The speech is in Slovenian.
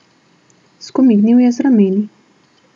Skomignil je z rameni.